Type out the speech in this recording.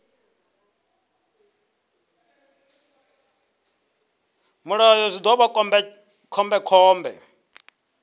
mulayo zwi ḓo vha khombekhombe